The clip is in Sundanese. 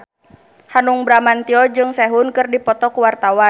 Hanung Bramantyo jeung Sehun keur dipoto ku wartawan